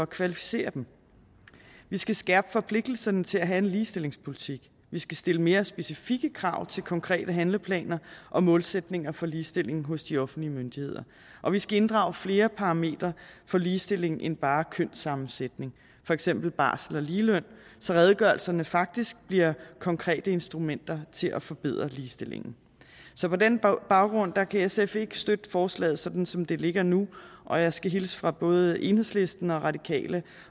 kvalificere dem vi skal skærpe forpligtelsen til at have en ligestillingspolitik vi skal stille mere specifikke krav til konkrete handleplaner og målsætninger for ligestilling hos de offentlige myndigheder og vi skal inddrage flere parametre for ligestilling end bare kønssammensætning for eksempel barsel og ligeløn så redegørelserne faktisk bliver konkrete instrumenter til at forbedre ligestillingen så på den baggrund kan sf ikke støtte forslaget sådan som det ligger nu og jeg skal hilse fra både enhedslisten og radikale